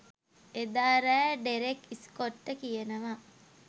එදා රෑ ඩෙරෙක් ස්කොට්ට කියනවා